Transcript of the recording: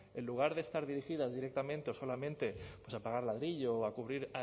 en lugar de estar dirigidas directamente o solamente a pagar ladrillo o a cubrir